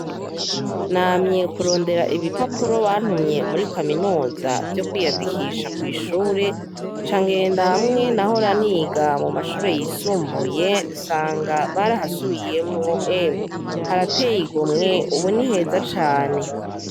Namye kurondera ibipapuro bantumye muri Kaminuza vyo kwiyandikisha kwishure nca ngenda hamwe nahora niga mumashure yisumbuye nsanga barahasubiyemwo emwe ubu Ni heza cane.